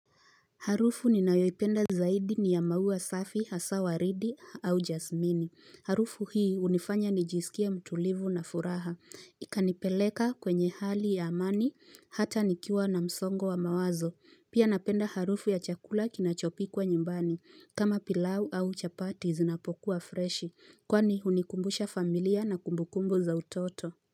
Harufu ninayoipenda zaidi ni ya maua safi, hasa waridi au jasmini. Harufu hii hunifanya nijisikia mtulivu na furaha. Ikanipeleka kwenye hali ya amani, hata nikiwa na msongo wa mawazo. Pia napenda harufu ya chakula kinachopikwa nyumbani. Kama pilau au chapati zinapokuwa freshi. Kwani unikumbusha familia na kumbukumbu za utoto.